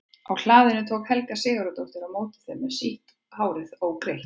Á hlaðinu tók Helga Sigurðardóttir á móti þeim með sítt hárið ógreitt.